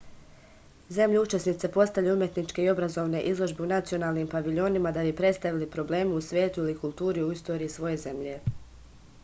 zemlje učesnice postavljaju umetničke i obrazovne izložbe u nacionalnim paviljonima da bi predstavili probleme u svetu ili kulturu i istoriju svoje zemlje